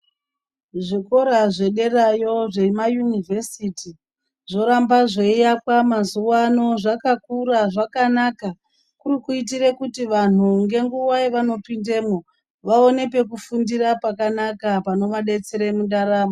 Zvikoro zvederayo zvema yunivhesiti zvoramba zveiakwa mazuwano zvakakura zvakanaka kuri kuitire kuti vanhu ngenguwa yavanopindemo vaone pekufundira pakanaka panovadetsere mundaramo.